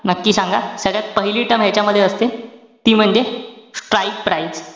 नक्की सांगा. ह्याच्यात पहिली term ह्यांच्यामध्ये असते, ती म्हणजे strike price.